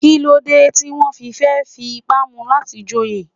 Kí ló dé tí wọ́n fẹ́ fi ipá mu láti joyè?